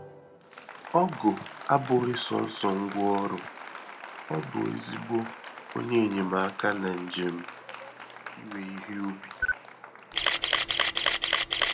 Ọgụ abụghị sọsọ ngwa ọrụ-ọ bụ ezigbo onye enyemaka na njem iwe ihe ubi